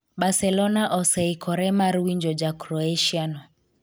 Barcelona oseikore mar winjo ja Croacia no